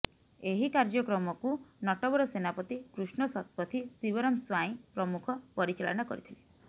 ଏହି କାର୍ୟ୍ୟକ୍ରମ କୁ ନଟବର ସେନାପତି କୃଷ୍ଣ ଶତପଥି ଶିବରାମ ସ୍ବାଇଁ ପ୍ରମୁଖ ପରିଚାଳନା କରିଥିଲେ